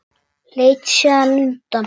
Leit síðan undan.